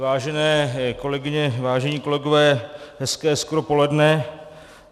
Vážené kolegyně, vážení kolegové, hezké skoro poledne.